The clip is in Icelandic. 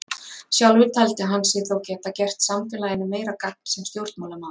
Sjálfur taldi hann sig þó geta gert samfélaginu meira gagn sem stjórnmálamaður.